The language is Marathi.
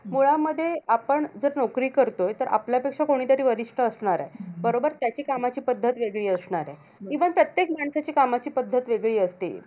मुळामध्ये आपण जर नोकरी करतोय, तर आपल्यापेक्षा कोणीतरी वरिष्ठ असणार आहे. बरोबर? त्याच्या कामाची पद्धत वेगळी असणार आहे. even प्रत्येक व्यक्तीची कामाची पद्धत वेगळी असते.